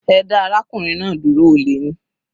Ẹ dá arákùnrin náà dúró, olè ni.